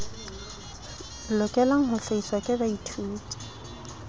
lokelang ho hlahiswa ke baithuti